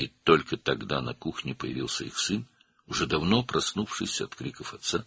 Və yalnız o zaman mətbəxdə onların oğlu peyda oldu, o, artıq çoxdan atasının qışqırıqlarından oyanmışdı.